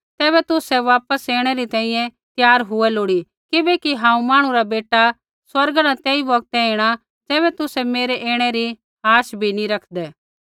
तैबै तुसै मेरै वापस ऐणै री तैंईंयैं त्यार हुऐ लोड़ी किबैकि हांऊँ मांहणु रा बेटा स्वर्गा न तेई बौगतै ऐणै ज़ैबै तुसै मेरै ऐणै री आश भी नी रखदै